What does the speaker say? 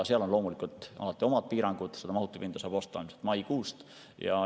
Seal on loomulikult alati omad piirangud ja seda mahutipinda saab osta ilmselt maikuust.